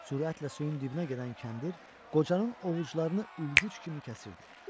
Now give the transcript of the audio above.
Sürətlə suyun dibinə gedən kəndir qocanın ovucularını üyüdücü kimi kəsirdi.